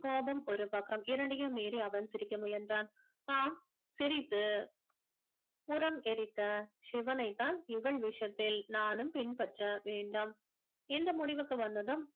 கோபம் ஒரு பக்கம் இரண்டையும் மீறி அவன் சிரிக்க முயன்றான் ஆம் சிரித்து உரம் எரித்த சிவனைத்தான் இவள் விஷயத்தில் நானும் பின்பற்ற வேண்டும் இந்த முடிவுக்கு வந்ததும்